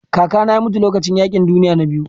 Kakana ya mutu lokacin yaƙin duniya na biyu.